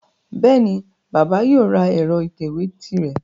Bẹ́ẹ̀ni, bàbà yóò ra ẹ̀rọ ìtẹ̀wé tirẹ̀